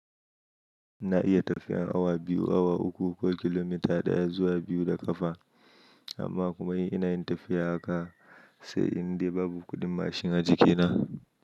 Na iya tafiyar awa biyu, awa uku ko kilomita ɗaya zuwa biyu da ƙafa, amma kuma ina yin tafiya haka sai indai babu kuɗin mashin a jikina.